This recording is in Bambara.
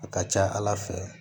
A ka ca ala fɛ